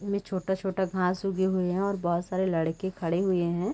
इनमे छोटा-छोटा घास उगे हुए है और बहोत सारे लड़के खड़े हुए है।